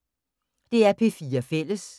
DR P4 Fælles